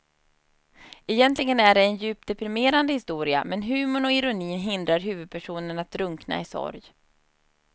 Egentligen är det en djupt deprimerande historia men humorn och ironin hindrar huvudpersonen att drunkna i sorg.